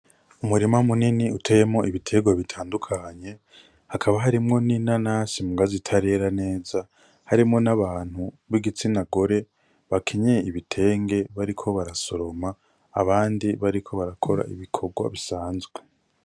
Umurima munini uteyemwo ibitegwa bitandukanye hakaba harimwo n'nanasi mugabo zitarera neza harimwo n'abantu bigitsina gore bakenyeye ibitenge bariko barasoroma ,abandi bariko barakora ibikorwa bisanzwe .